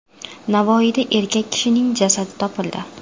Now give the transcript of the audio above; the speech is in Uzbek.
Navoiyda erkak kishining jasadi topildi.